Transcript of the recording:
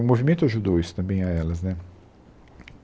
O movimento ajudou isso também a elas, né?